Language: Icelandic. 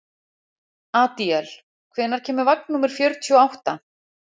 Adíel, hvenær kemur vagn númer fjörutíu og átta?